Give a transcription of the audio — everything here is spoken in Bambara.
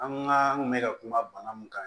An ka n kun mɛ ka kuma bana mun kan